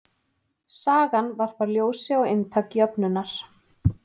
Sagan varpar ljósi á inntak jöfnunnar.